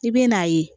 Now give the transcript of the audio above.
I bɛ n'a ye